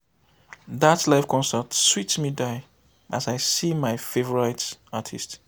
dat live concert sweet me die as i see my favourite artist.